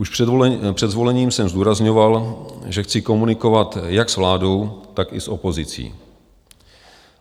Už před zvolením jsem zdůrazňoval, že chci komunikovat jak s vládou, tak i s opozicí.